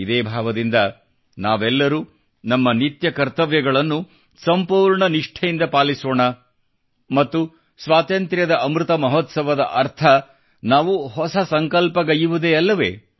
ಇದೇ ಭಾವದಿಂದ ನಾವೆಲ್ಲರೂ ನಮ್ಮ ನಿತ್ಯ ಕರ್ತವ್ಯಗಳನ್ನು ಸಂಪೂರ್ಣ ನಿಷ್ಠೆಯಿಂದ ಪಾಲಿಸೋಣ ಮತ್ತು ಸ್ವಾತಂತ್ರ್ಯದ ಅಮೃತ ಮಹೋತ್ಸವದ ಅರ್ಥ ನಾವು ಹೊಸ ಸಂಕಲ್ಪ ಗೈಯ್ಯುವುದೇ ಅಲ್ಲವೇ